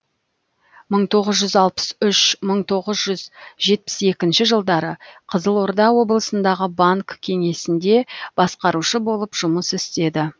мың тоғыз жүз алпыс үш мың тоғыз жүз жетпіс екінші жылдары қызылорда облысындағы банк кеңесінде басқарушы болып жұмыс істеді